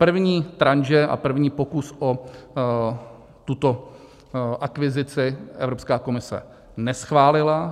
První tranše a první pokus o tuto akvizici Evropská komise neschválila.